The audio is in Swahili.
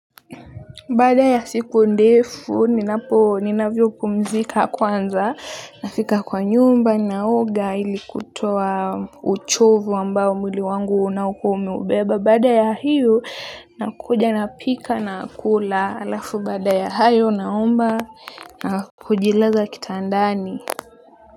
Baada ya siku ndefu ninapo ninavyo pumzika kwanza nafika kwa nyumba naoga ili kutoa uchovu ambao mwili wangu unaokuwa umeubeba baada ya hiyo nakuja napika nakula alafu baada ya hayo naomba na kujilaza kitandani. Kwa hivyo.